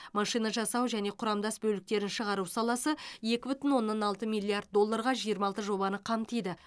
машинажасау және құрамдас бөліктерін шығару саласы екі бүтін оннан алты миллиард долларға жиырма алты жобаны қамтиды